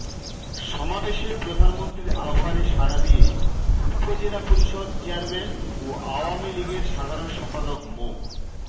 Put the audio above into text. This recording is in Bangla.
সমাবেশে প্রধানমন্ত্রীর আহবানে সারা দিয়ে উপজেলা পরিষদ চেয়ারম্যান ও আওয়ামী লীগের সাধারণ সম্পাদক মো